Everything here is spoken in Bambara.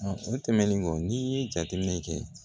o tɛmɛnen kɔ n'i ye jateminɛ kɛ